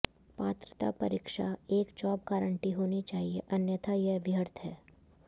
पात्रता परीक्षा एक जॉब गारण्टी होनी चाहिए अन्यथा यह व्यर्थ है